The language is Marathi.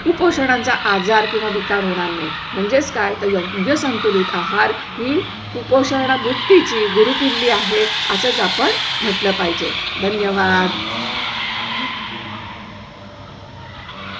उपोषणाचा आजार किंवा विकार होणार नाही. म्हणजेच काय? तर म्हणजे संतुलित आहार ही कुपोषणमुक्ती ची गुरुकिल्ली आहे. आज आपण म्हटलं पाहिजे. धन्यवाद.